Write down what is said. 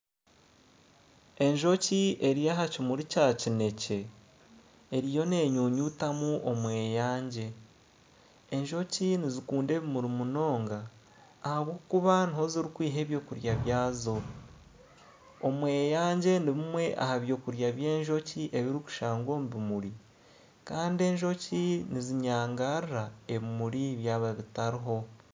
Enjoki eri aha kimuri Kya kinekye eriyo nenyunyutamu omweyangye enjoki nizikunda ebimuri munonga ahabwokuba niho ziri kwiha ebyokurya byazo omweyangye nibimwe aha byokurya by'enjoki ebiri kushangwa omu bimuri Kandi enjoki nizinyangarara ebimuri byaba bitariho